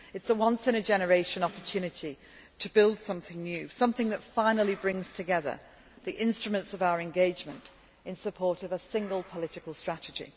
This is a once in a generation opportunity to build something new, something that finally brings together the instruments of our engagement in support of a single political strategy.